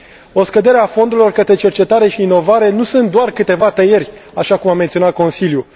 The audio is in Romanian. O scădere a fondurilor către cercetare și inovare nu reprezintă doar câteva tăieri, așa cum a menționat Consiliul.